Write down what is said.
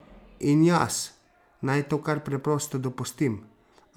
In jaz naj to kar preprosto dopustim?